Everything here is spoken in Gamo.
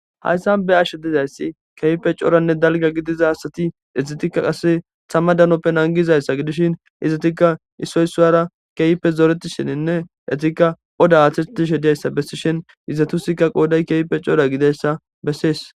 Haysan be'ashe dizays tama danoppe nangizaysa gidishn izetika issoy isuwara zoretishenne besishn izetuska qodaya keehippe cora gididaysa beses.